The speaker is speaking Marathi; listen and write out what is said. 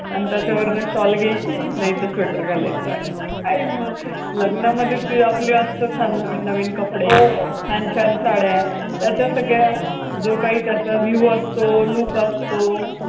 आन् त्याच्यावरनं shawl घ्यायची, नाहीतर sweater घालायचं. काय मग! लग्नामध्ये ते आपले असतात छान नवीन नवीन कपडे हो, छान छान साड्या, त्याच्या सगळ्या, जो काही त्याचा view असतो, तो look असतो.